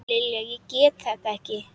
Lilja, ég get þetta ekki.